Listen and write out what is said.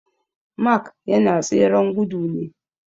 Mark yana tseren gudu ne